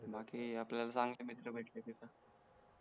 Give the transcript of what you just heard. बाकी आपल्याला चांगले मित्र भेटले तिथे